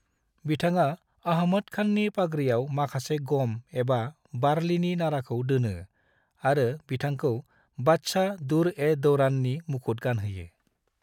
बिथाङा अहमद खाननि पागरियाव माखासे गम एबा बारलिनि नाराखौ दोनो आरो बिथांखौ बादशाह, दुर्-ए-दौराननि मुखुत गानहोयो।